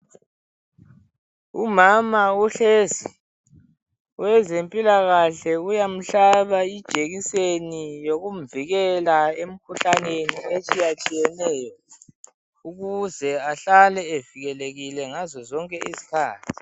Umama uhlezi. Owezempilakahle uyamhlaba ijekiseni yokumvikela emkhuhlaneni etshiyatshiyeneyo ukuze ahlale evikelekile ngazo zonke izikhathi.